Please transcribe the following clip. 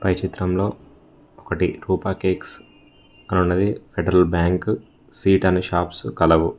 ఈ చిత్రంలో ఒకటి రూప కేక్స్ అని ఉన్నది ఫెడరల్ బ్యాంకు సీట్ అని షాప్స్ కలవు.